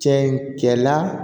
Cɛ in kɛla